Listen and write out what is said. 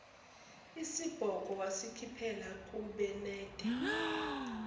isibhongo wasikhiphela kubenade